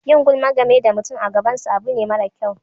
Yin gulma game da mutum a gaban sa abu ne mara kyau.